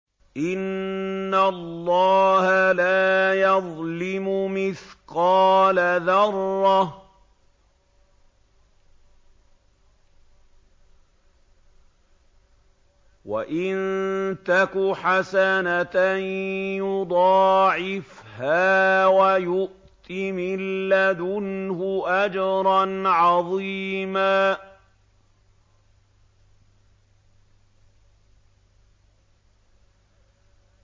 إِنَّ اللَّهَ لَا يَظْلِمُ مِثْقَالَ ذَرَّةٍ ۖ وَإِن تَكُ حَسَنَةً يُضَاعِفْهَا وَيُؤْتِ مِن لَّدُنْهُ أَجْرًا عَظِيمًا